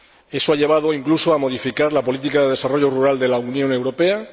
Eso ha llevado incluso a modificar la política de desarrollo rural de la Unión Europea.